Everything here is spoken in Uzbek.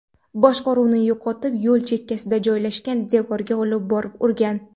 boshqaruvni yo‘qotib, yo‘l chekkasida joylashgan devorga olib borib urgan.